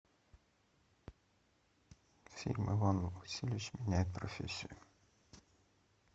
фильм иван васильевич меняет профессию